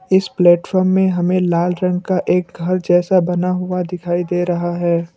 इस प्लेटफार्म में हमें लाल रंग का एक घर जैसा बना हुआ दिखाई दे रहा है।